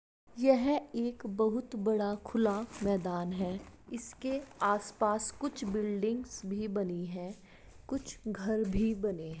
यह एक बहुत बड़ा खुला मैदान है इसके आस-पास कुछ बिल्डिंग्स भी बनी है कुछ घर भी बने --